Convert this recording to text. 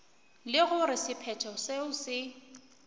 le gore sephetho seo se